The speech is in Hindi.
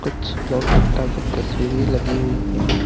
कुछ लॉर्ड बुद्ध की तस्वीरे लगी हुई है।